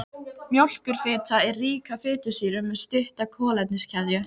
Mjólkurfita er rík af fitusýrum með stutta kolefniskeðju.